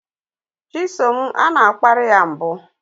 Chisom a na-akparị ya mbụ